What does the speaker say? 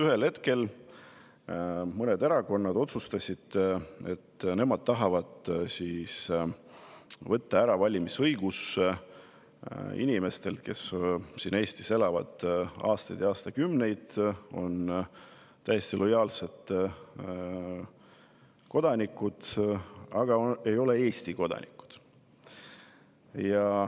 Ühel hetkel mõned erakonnad otsustasid, et nemad tahavad võtta ära valimisõiguse inimestelt, kes siin Eestis on elanud aastaid ja aastakümneid, kes on täiesti lojaalsed kodanikud, aga ei ole Eesti kodanikud.